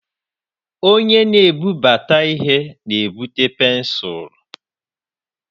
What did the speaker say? Onye na-ebubata ihe na-ebute pensụl.